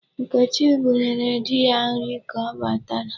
Nkechi bunyere di ya nri ka ọ batara.